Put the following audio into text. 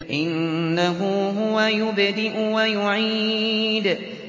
إِنَّهُ هُوَ يُبْدِئُ وَيُعِيدُ